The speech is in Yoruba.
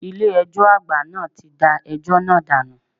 Ilé ẹjọ́ àgbà náà ti da ẹjọ́ náà dànù.